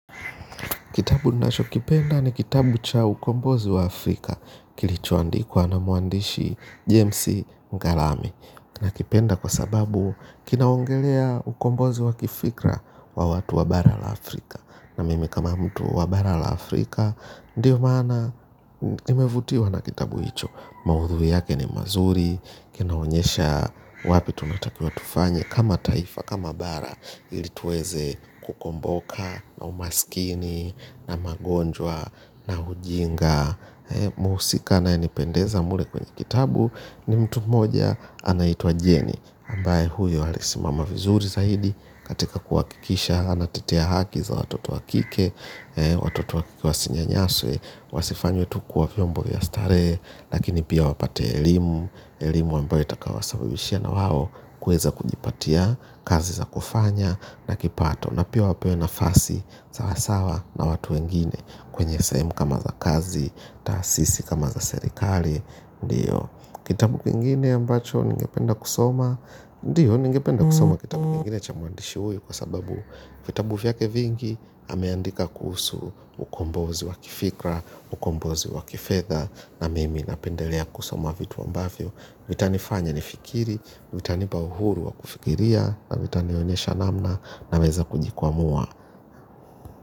Kitabu ninacho kipenda ni kitabu cha ukombozi wa Afrika. Kilichoandikwa na mwandishi Jamesy Ngarami. Na kipenda kwa sababu kinaongelea ukombozi wa kifikra wa watu wa bara la Afrika. Na mimi kama mtu wa bara la Afrika Ndiyo maana nimevutiwa na kitabu hicho. Maudhui yake ni mazuri. Kinaonyesha wapi tunatakiwa tufanye kama taifa kama bara ili tuweze kukomboka na umaskini na magonjwa na hujenga muhusika anayenipendeza mle kwenye kitabu ni mtu moja anaitwa jeni ambaye huyo alisimama vizuri zaidi katika kuhakikisha anatetea haki za watoto wakike, watoto wakike wasinyanyaswe wasifanywe tukuwavyombo ya starehe lakini pia wapate elimu elimu ambayo itakaowa sababishia na wao kuweza kujipatia kazi za kufanya na kipato na pia wapewe na fasi sawasawa na watu wengine kwenye sahemu kama za kazi taasisi kama za serikali ndiyo kitabu kingine ambacho ninge penda kusoma ndiyo ninge penda kusoma kitabu kingine chamwandishi huyu kwa sababu vitabu vya kevingi ameandika kuhusu ukombozi wakifikra ukombozi wakifedha na mimi napendelea kusoma vitu ambavyo vitanifanya nifikiri, vitanipa uhuru wa kufikiria na vitanionyesha namna na weza kujikwa mua.